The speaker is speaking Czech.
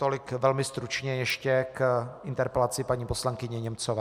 Tolik velmi stručně ještě k interpelaci paní poslankyně Němcové.